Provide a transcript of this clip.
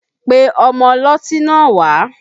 Pe ọmọ ọlọ́tí náà wá!